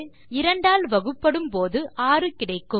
2 ஆல் வகுபடும் போது 6 கிடைக்கும்